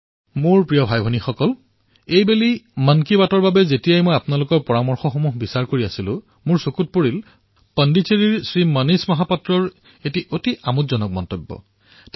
মোৰ মৰমৰ ভাতৃভগ্নীসকল এইবাৰ যেতিয়া মই মন কী বাতত আপোনালোকৰ চিন্তাপৰামৰ্শ প্ৰত্যক্ষ কৰিছিলো তেতিয়া মই পুডুচেৰীৰ শ্ৰী মনীষ মহাপাত্ৰৰ এক ৰোমাঞ্চকৰ টিপ্পনী দেখিবলৈ পালো